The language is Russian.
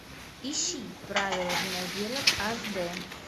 ищи правила виноделов аш д